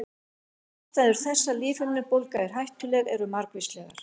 Ástæður þess að lífhimnubólga er hættuleg eru margvíslegar.